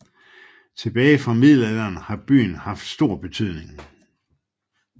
Tilbage fra middelalderen har byen haft stor betydning